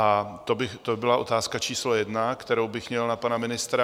A to by byla otázka číslo jedna, kterou bych měl na pana ministra.